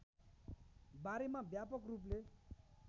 बारेमा व्यापक रूपले